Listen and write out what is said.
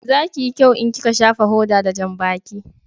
Za ki yi kyau in ki ka shafa hoda da janbaki